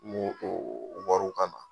o wariw ka na